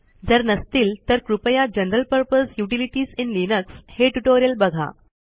जर नसतील तर कृपया general purpose utilities in Linux हे ट्युटोरियल बघा